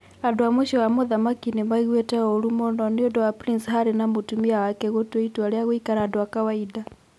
Andũ a mũciĩ wa mũthamaki 'nĩ maiguite ũũru mũno' nĩ ũndũ wa Prince Harry na mũtumia wake gũtua itua rĩa gũikara andũ a kawaida.